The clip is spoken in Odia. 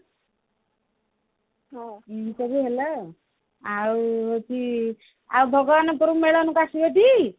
ଏମିତି ସବୁ ହେଲା ଆଉ ଆଉ ହଉଛି ଆଉ ଭଗବାନଙ୍କର ମେଳନକୁ ଆସିବ ଟି